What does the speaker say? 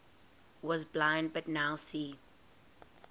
was blind but now see